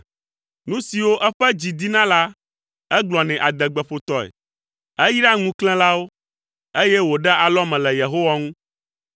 Nu siwo eƒe dzi dina la, egblɔnɛ adegbeƒotɔe; eyraa ŋuklẽlawo, eye wòɖea alɔme le Yehowa ŋu.